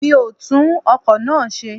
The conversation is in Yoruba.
Mi o tún ọkọ̀ náà ṣe.